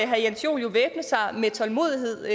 herre jens joel jo væbne sig med tålmodighed